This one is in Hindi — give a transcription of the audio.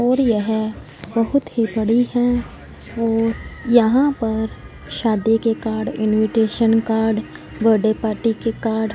और यह बहोत ही बड़ी हैं और यहां पर शादी के card invitation card birthday party के कार्ड --